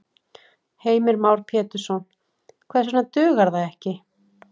Heimir Már Pétursson: Hvers vegna dugar það ekki?